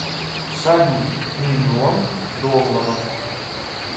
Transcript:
салют миллион долларов